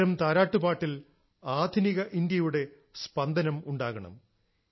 ഇത്തരം താരാട്ടുപാട്ടിൽ ആധുനിക ഇന്ത്യയുടെ സ്പന്ദനം ഉണ്ടാകണം